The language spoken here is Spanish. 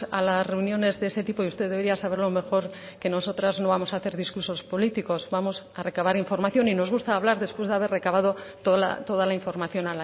a las reuniones de ese tipo y usted debería saberlo mejor que nosotras no vamos a hacer discursos políticos vamos a recabar información y nos gusta hablar después de haber recabado toda la información